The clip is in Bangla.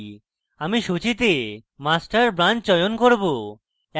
আমি সূচীতে master branch চয়ন করব